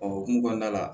O hokumu kɔnɔna la